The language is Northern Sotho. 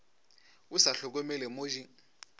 o sa hlokomele mo di